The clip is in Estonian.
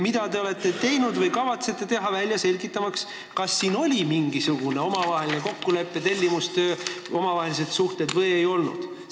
Mida te olete teinud või kavatsete teha, selgitamaks välja, kas mängus oli mingisugune omavaheline kokkulepe, kas tegu oli tellimusega, eriliste omavaheliste suhetega või ei olnud?